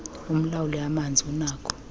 umlawuli amanzi unakho